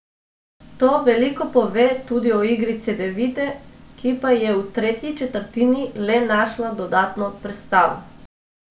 To veliko pove tudi o igri Cedevite, ki pa je v tretji četrtini le našla dodatno prestavo.